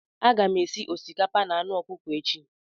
Aga m esi osikapa na anụ ọkụkọ echi.